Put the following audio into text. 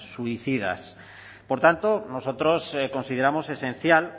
suicidas por tanto nosotros consideramos esencial